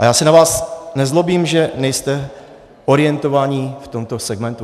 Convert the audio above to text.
A já se na vás nezlobím, že nejste orientovaní v tomto segmentu.